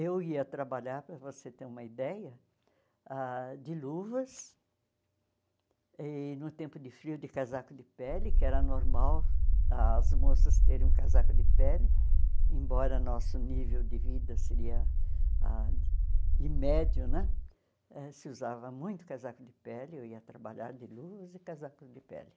Eu ia trabalhar, para você ter uma ideia, ah de luvas, e no tempo de frio, de casaco de pele, que era normal as moças terem um casaco de pele, embora nosso nível de vida seria ah de médio né, eh se usava muito casaco de pele, eu ia trabalhar de luvas e casaco de pele.